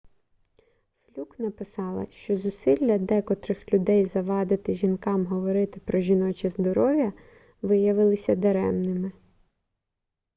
флюк написала що зусилля декотрих людей завадити жінкам говорити про жіноче здоров'я виявилися даремними